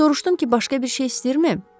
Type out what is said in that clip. Soruşdum ki, başqa bir şey istəyirmi?